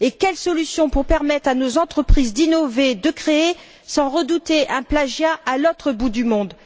Quelle est la solution pour permettre à nos entreprises d'innover, de créer, sans redouter un plagiat à l'autre bout du monde?